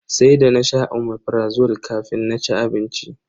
Sai da nasha Omeprazole kafin na ci abinci.